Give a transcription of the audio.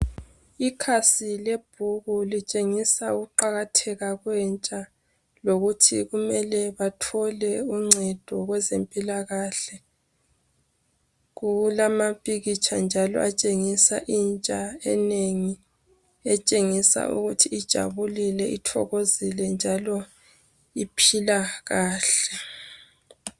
Ikhasi lebhuku litshengisa ukuqakatheka kwentsha lokuthi kumele bathole uncedo kwezempilakahle. Kulamampikitsha njalo atshengisa intsha enengi etshengisa ukuthi ijabulile ithokozile njalo iphila kahle.